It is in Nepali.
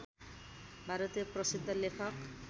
भारतीय प्रसिद्ध लेखक